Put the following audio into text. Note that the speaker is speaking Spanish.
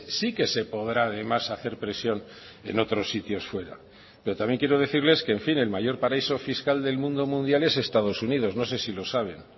sí que se podrá además hacer presión en otros sitios fuera pero también quiero decirles que en fin el mayor paraíso fiscal del mundo mundial es estados unidos no sé si lo saben